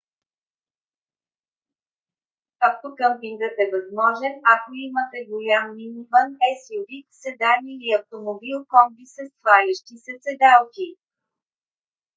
автокъмпингът е възможен ако имате голям миниван suv седан или автомобил комби със свалящи се седалки